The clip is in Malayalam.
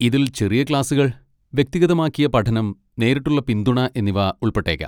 ഇതിൽ ചെറിയ ക്ലാസുകൾ, വ്യക്തിഗതമാക്കിയ പഠനം, നേരിട്ടുള്ള പിന്തുണ എന്നിവ ഉൾപ്പെട്ടേക്കാം.